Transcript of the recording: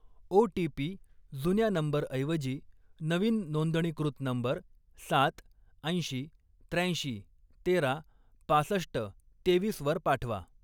OTP. जुन्या नंबरऐवजी नवीन नोंदणीकृत नंबर सात, ऐंशी, त्र्याऐंशी, तेरा, पासष्ट, तेवीसवर पाठवा.